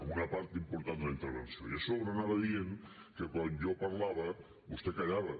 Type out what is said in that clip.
en una part important de la intervenció i a sobre anava dient que quan jo parlava vostè callava